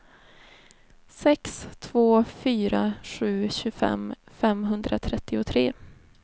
sex två fyra sju tjugofem femhundratrettiotre